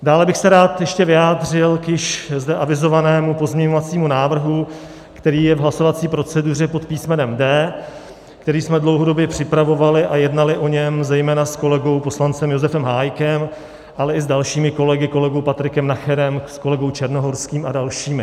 Dále bych se rád ještě vyjádřil k již zde avizovanému pozměňovacímu návrhu, který je v hlasovací proceduře pod písmenem D, který jsme dlouhodobě připravovali a jednali o něm zejména s kolegou poslancem Josefem Hájkem, ale i s dalšími kolegy, kolegou Patrikem Nacherem, s kolegou Černohorským a dalšími.